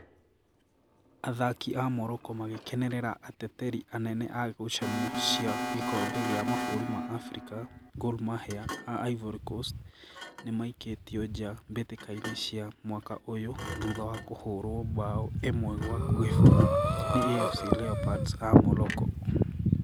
Athaki a Morocco magĩkenerera ateteri anene a ngucanio cia gĩkombe gĩa mabũrũri ma Afrika, Gor Mahia a Ivory Coast, nĩmaikĩtio nja mbĩtĩka-inĩ cia mwaka ũyũ thutha wa kũhũrwo mbaũ ĩmwe gwa gĩbũgũ nĩ AFC Leopards a Morocco